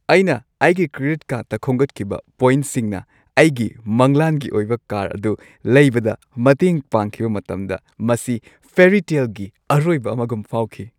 ꯑꯩꯅ ꯑꯩꯒꯤ ꯀ꯭ꯔꯦꯗꯤꯠ ꯀꯥꯔꯗꯇ ꯈꯣꯝꯒꯠꯈꯤꯕ ꯄꯣꯏꯟꯠꯁꯤꯡꯅ ꯑꯩꯒꯤ ꯃꯪꯂꯥꯟꯒꯤ ꯑꯣꯏꯕ ꯀꯥꯔ ꯑꯗꯨ ꯂꯩꯕꯗ ꯃꯇꯦꯡ ꯄꯥꯡꯈꯤꯕ ꯃꯇꯝꯗ ꯃꯁꯤ ꯐꯦꯔꯤꯇꯦꯜꯒꯤ ꯑꯔꯣꯏꯕ ꯑꯃꯒꯨꯝ ꯐꯥꯎꯈꯤ꯫